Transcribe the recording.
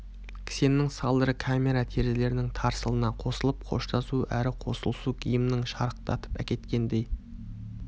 кісеннің салдыры камера терезелерінің тарсылына қосылып қоштасу әрі қосылысу гимнің шарықтатып әкеткендей